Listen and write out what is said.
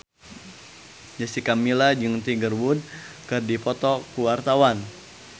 Jessica Milla jeung Tiger Wood keur dipoto ku wartawan